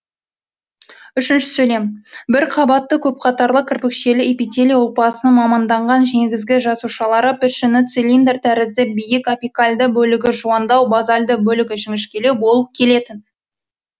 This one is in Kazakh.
бірқабатты көпқатарлы кірпікшелі эпителий ұлпасының маманданған негізгі жасушалары пішіні цилиндр тәрізді биік апикальды бөлігі жуандау базальды бөлігі жіңішкелеу болып келетін